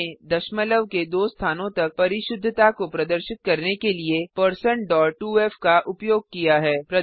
हमने दशमलव के दो स्थानों तक परिशुद्धता को प्रदर्शित करने के लिए 2f का उपयोग किया है